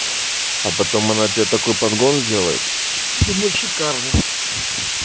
а потом она тебе такой подгон сделает думаю шикарный